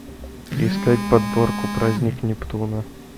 искать подборку праздник нептуна